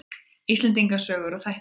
Íslendinga sögur og þættir.